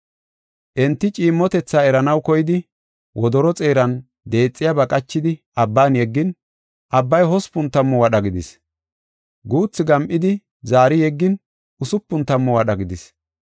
Enti ciimmotetha eranaw koyidi wodoro xeeran deexiyaba qachidi abban yeggin, abbay hospun tammu wadha gidis. Guuthi gam7idi, zaari yeggin usupun tammu wadha gidis.